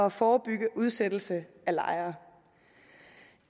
at forebygge udsættelse af lejere